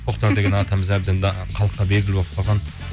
тоқтар деген атамыз әбден халыққа белгілі болып қалған